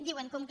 diuen com que